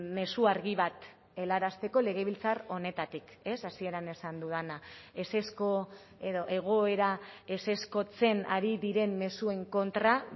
mezu argi bat helarazteko legebiltzar honetatik ez hasieran esan dudana ezezko edo egoera ezezkotzen ari diren mezuen kontra